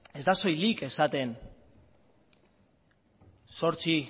ez da soilik esaten zortzi